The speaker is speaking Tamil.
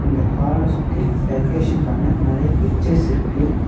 இந்த ஹால்ல சுத்தி டெக்ரேசன் பண்ண நறைய பிக்சர்ஸ் இருக்கு.